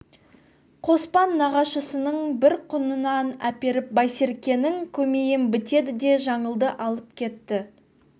қоспан нағашысының бір құнанын әперіп байсеркенің көмейін бітеді де жаңылды алып кетті